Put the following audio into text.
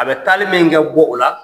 A bɛ taali min kɛ b'o la